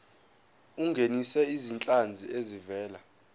ungenise izinhlanzi ezivela